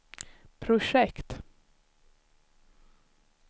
projekt